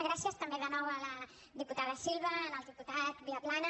gràcies també de nou a la diputada silva al diputat viaplana